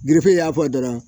gerefe y'a fɔ dɔrɔn